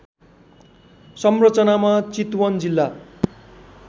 संरचनामा चितवन जिल्ला